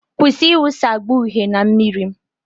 Kwụsị ịwụsa agba uhie na mmiri.